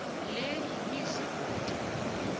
le yimise kude